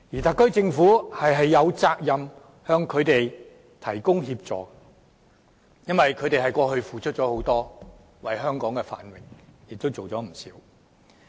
特區政府有責任向他們提供協助，因為他們過去為香港付出很多，為香港的繁榮作出不少貢獻。